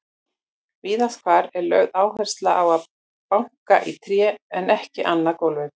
Víðast hvar er lögð áhersla á að banka í tré en ekki annað efni.